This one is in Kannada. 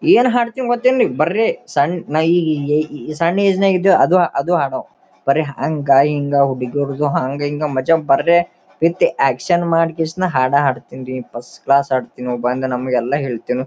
ಏನ್ ಹಾಡ್ತಿವಿ ಗೊತ್ತೇನ್ರಿ ಸಣ್ಣ ಸನ್ ಈ ಈ ಸಣ್ಣ ಏಜ್ ನಾಗ ಇದ್ದಿವಿ ಅದೇ ಹಾಡೋವು ಬರೇ ಹಂಗ ಹಿಂಗ ಹುಡುಗಿರ್ದು ದೊಡ್ಡದು ಮಜಬರ್ದೇ ವಿಥ್ ಆಕ್ಷನ್ ಮಾಡಿ ಕಿಶನ ಹದ ಹಾಡ್ತಿನಿ ರೀ ಫಸ್ಟ್ ಕ್ಲಾಸ್ ಹಾಡ್ತಿನಿ ಬಂದ್ ನಮ್ಗ ಎಲ್ಲ ಹೆಲ್ತನಿ.